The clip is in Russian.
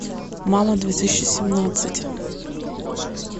мама две тысячи семнадцать